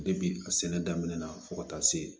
a sɛnɛ daminɛ na fo ka taa se